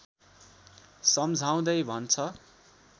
सम्झाउँदै भन्छ